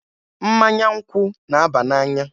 Mmanya nkwụ na-aba n'anya.